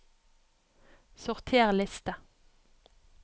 Sorter liste